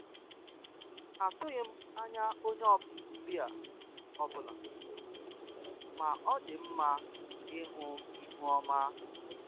atụghị m anya onye ọbịa ọbụla, ma ọ dị mma ịhụ ihu ọma